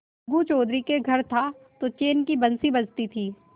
अलगू चौधरी के घर था तो चैन की बंशी बजती थी